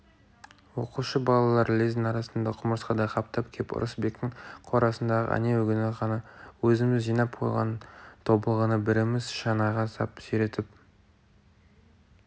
оқушы балалар лездің арасында құмырсқадай қаптап кеп ырысбектің қорасындағы әнеугүні ғана өзіміз жинап қойған тобылғыны біріміз шанаға сап сүйретіп